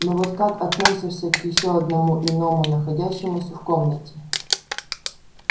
но вот как относишься к ещё одному иному находящемуся в комнате